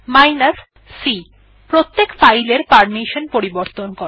c প্রত্যেক file এর permission পরিবর্তন করে